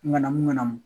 Ŋanamu ŋanamu